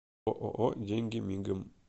ооо деньгимигом